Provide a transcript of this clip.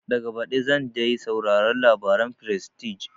Daga baɗi zan dai sauraron labaren frestige